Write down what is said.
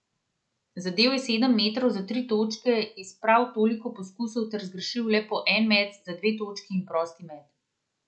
Zadel je sedem metov za tri točke iz prav toliko poskusov ter zgrešil le po en met za dve točki in prosti met.